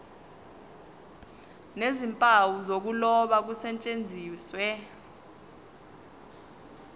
nezimpawu zokuloba kusetshenziswe